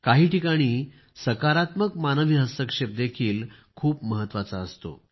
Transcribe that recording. काही ठिकाणी सकारात्मक मानवी हस्तक्षेप देखील खूप महत्वाचा आहे